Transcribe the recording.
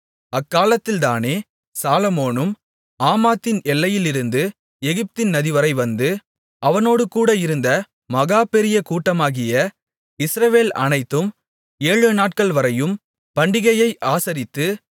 அக்காலத்தில்தானே சாலொமோனும் ஆமாத்தின் எல்லையிலிருந்து எகிப்தின் நதிவரை வந்து அவனோடுகூட இருந்த மகா பெரிய கூட்டமாகிய இஸ்ரவேல் அனைத்தும் ஏழுநாட்கள்வரையும் பண்டிகையை ஆசரித்து